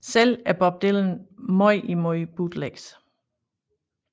Selv er Bob Dylan meget imod bootlegs